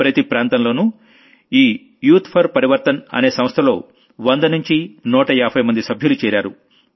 ప్రతి ప్రాంతంలోనూ ఈ యూత్ ఫోర్ Parivarthanఅనే సంస్థలో వంద నుంచి నూట యాభైమంది సభ్యులు చేరారు